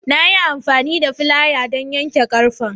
Na yi amfani da filayan don yanke ƙarfe.